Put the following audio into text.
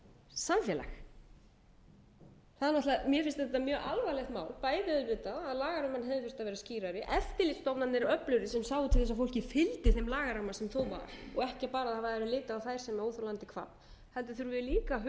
samfélag mér finnst þetta mjög alvarlegt mál bæði auðvitað að lagaramminn hefði þurft að vera skýrari eftirlitsstofnanir öflugri sem sáu til þess að fólkið finna sinn lagaramma sem þó var og ekki bara að það væri litið á þær sem óþolandi kvabb heldur þurfum við líka að huga að